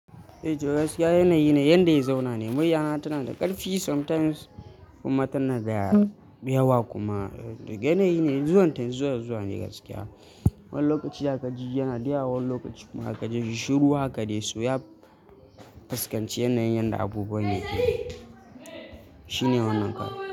Eh gaskiya yanayi ne yanda ya zauna ne. Muryana tana da ƙarfi sometimes kuma tana da yawa kuma. Yanayi ne zuwan ta zuwa zuwa ne gaskiya. Wani lokaci zaka ji yana da yawa wani lokaci kuma zaka ji shiru haka dai. So ya fuskanci yanayin yanda abubuwan yake. Shine wannan karu.